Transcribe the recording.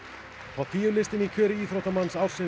topp tíu listinn í kjöri íþróttamanns ársins